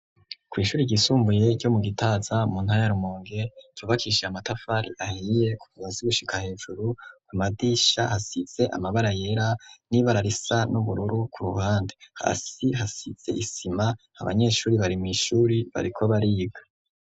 Kwi'ishuri ryisumbuye ryo mu gitaza mu ntara ya Rumonge cubakishije amatafari ahiye ku bazi gushika hejuru ku madirisha hasize amabara yera n'ibara risa n'ubururu ku ruhande hasi hasize isima abanyeshuri barimwishuri bariko bariga.